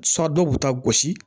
Sɔ dɔw b'u ta gosi